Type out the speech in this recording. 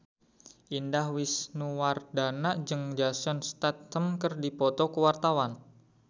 Indah Wisnuwardana jeung Jason Statham keur dipoto ku wartawan